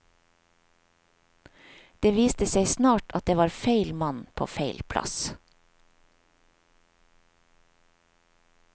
Det viste seg snart at det var feil mann på feil plass.